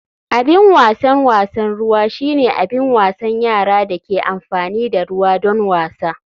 Abin wasan wasan ruwa shine abin wasan yara da ke amfani da ruwa don wasa.